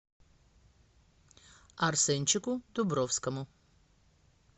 арсенчику дубровскому